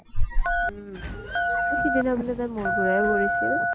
উম । অ সিদিনা বোলে তাই মুৰ ঘোৰাই পৰিছিল ?